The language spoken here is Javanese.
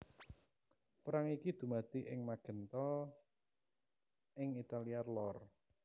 Perang iki dumadi ing Magenta ing Italia lor